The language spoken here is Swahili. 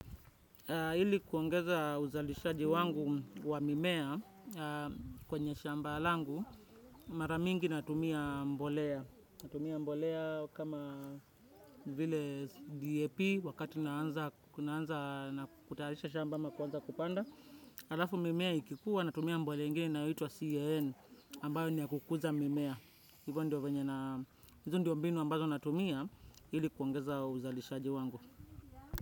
Hili kuongeza uzalishaji wangu wa mimea kwenye shamba langu, mara mingi natumia mbolea. Natumia mbolea kama vile DAP wakati naanza na kutaharisha shamba ama kwanza kupanda. Alafu mimea ikikuwa natumia mbolea ingini inayoitwa CAN ambayo niya kukuza mimea. Hivyo ndio venye na, hivyo ndio mbinu ambazo natumia hili kuongeza uzalishaji wangu.